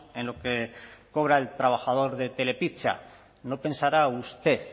en lo que cobra el trabajador de telepizza no pensará usted